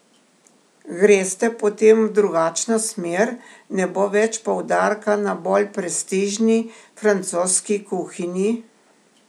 Greste potem v drugačno smer, ne bo več poudarka na bolj prestižni, francoski kuhinji?